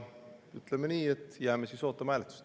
Ütleme nii, et jääme siis ootama hääletust.